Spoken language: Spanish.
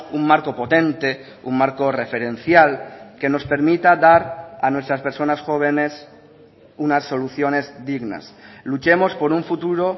un marco potente un marco referencial que nos permita dar a nuestras personas jóvenes unas soluciones dignas luchemos por un futuro